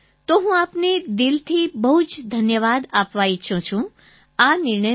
તો હું આપને દિલથી બહુ જ ધન્યવાદ આપવા ઈચ્છું છું આ નિર્ણય માટે